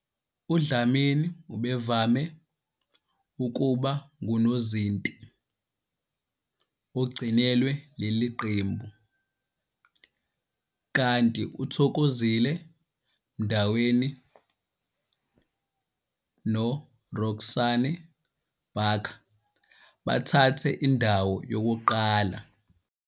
UDlamini ubevame ukuba ngunozinti ogcinelwe leli qembu, kanti uThokozile Mndaweni noRoxanne Barker bathathe indawo yokuqala.